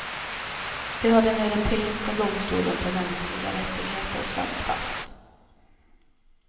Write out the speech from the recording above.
Det har den europeiska domstolen för mänskliga rättigheter slagit fast.